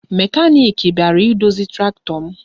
Mekaniki bịara idozi traktọ m